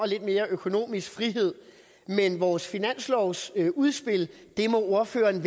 lidt mere økonomisk frihed men vores finanslovsudspil må ordføreren